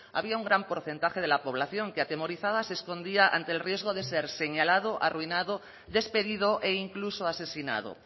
había un gran porcentaje de la población que atemorizada se escondía ante el riesgo de ser señalado arruinado despedido e incluso asesinado